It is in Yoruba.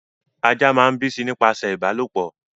Ajá máa ń bíi sí i nípasẹ̀ ìbálòpọ̀